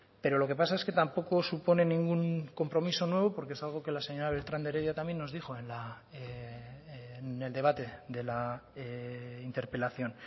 pero lo que pasa es que tampoco supone ningún compromiso nuevo porque es algo que la señora beltran de heredia también nos dijo en el debate de la interpelación